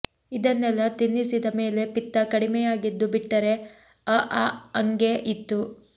ಇದನ್ನೆಲ್ಲಾ ತಿನ್ನಸಿದ ಮೇಲೆ ಪಿತ್ತ ಕಡಿಮೆಯಾಗಿದ್ದು ಬಿಟ್ಟರೆ ಅಆ ಅಂಗೇ ಇತ್ತು